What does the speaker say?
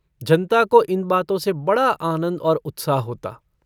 जनता को इन बातो से बड़ा आनन्द और उत्साह होता।